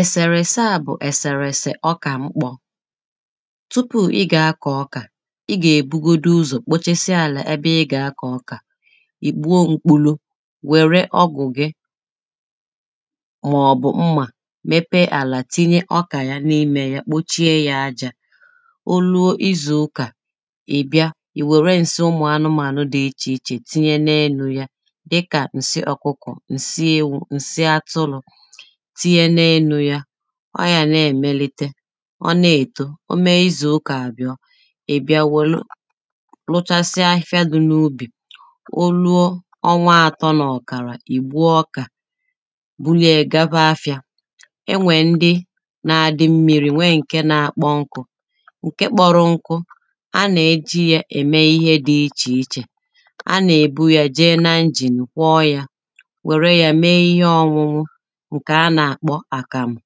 ẹ̀sèrẹ̀ ẹ̀sẹā bụ̀ ẹ̀sẹ̀rẹ̀ ẹ̀sẹ̀ ọkà mkpọ̄ tụpụ ịgà akọ̀ ọkà ịgà èbugodu ụzọ̀ kpochesia àlà ebe ịgà akọ̀ ọkà ìgbu o mkpụlu wère ọgwù gị màọ̀bù mmà mepẹẹ àlà tinye ọkà ya n’ịmē ya kpochie ya ajā oluo izù ụkà ìbịa ìwèrē ǹsị ụmụ̀ anụmānụ̀ dị ịchì ịchè tinye n’elū ya dịkà ǹsị ọkụkọ̀, ǹsị ewū, ǹsị atụlụ̄ tinye n’elū ya ọyà n’èmelite ọna èto ome izù ụkà àbiọ ìbịa wèlụ luchasịa afịfịa dị n’ụbì oluo ọnwa atọ nà ọ̀kàrà, ìgbuo ọkà buliẹ̄ẹ̄ gaba afịā enwè ndị na adị mmirī wẹẹ ǹke na akpọ nkụ ǹke kpọru nku anà ejī ya ème ihe dị ịchì ịchè anà èbu ya jee na injìn kwọ ya wère yā mēē ihe ọnwụwụ ǹkè anà àkpọ àkàmù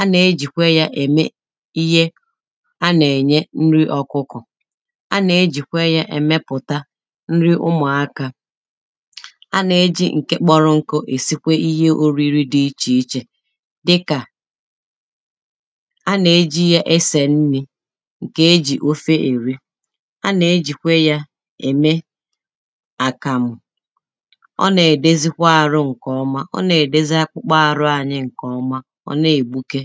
anà ejìkwe ya ème ihe anà ènye nrị ọkụkọ̀ anà ejìkwe ya èmepùta nrị ụmụ̀ akā anà ejì ǹke kpọrụ nkụ èsịkwe ihe òrịrị dị ịchì ịchè dịkà anà ejì ya esè nnī ǹkè ejì ofe èrị anà ejìkwe ya ème àkàmù ọnà èdezịkwa àrụ ǹkè ọma, ọnà èdezị akpụkpụ àrụ anyi ǹkè ọma ọ̀na ègbụke